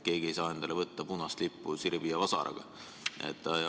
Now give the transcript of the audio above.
Keegi ei saa enda lipuks võtta punast lippu sirbi ja vasaraga.